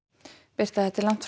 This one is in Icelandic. birta þetta er langt